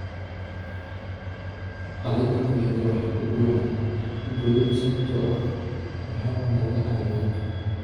Caleenta galleyda waxaa ka buuxa godad sababtoo ah waxaa cunaya cayayaanka.